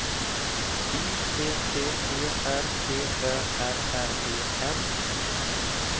Y T T E R D Ö R R E N